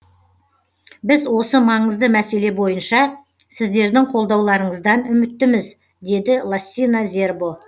біз осы маңызды мәселе бойынша сіздердің қолдауларыңыздан үміттіміз деді лассина зербо